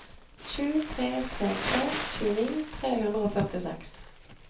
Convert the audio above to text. sju tre tre tre tjueni tre hundre og førtiseks